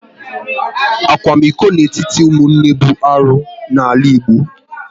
Akwamiko n'etiti ụmụnne bụ arụ n'ala Igbo